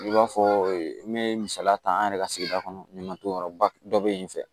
I b'a fɔ n bɛ misaliya ta an yɛrɛ ka sigida kɔnɔ ɲamaton yɔrɔ ba dɔ bɛ yen fɛ